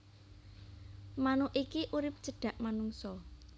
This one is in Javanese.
Manuk iki urip cedhak manungsa